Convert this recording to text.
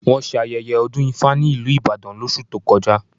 Wọ́n ṣe ayẹyẹ ọdún ifá ní ìlú Ìbàdàn lóṣù tó kọjá